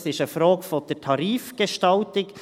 Das ist eine Frage der Tarifgestaltung.